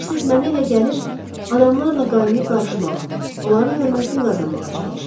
Bilirsiniz, mənə elə gəlir adamlarla qaynaşıb-qarışmağa, onların hörmətini qazanmağa çalışır.